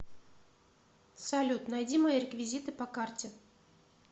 салют найди мои реквизиты по карте